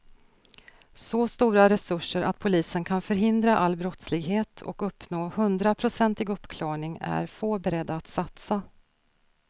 Så stora resurser att polisen kan förhindra all brottslighet och uppnå hundraprocentig uppklarning är få beredda att satsa.